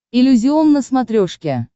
иллюзион на смотрешке